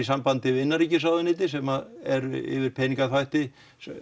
samband við innanríkisráðuneytið sem er yfir peningaþvætti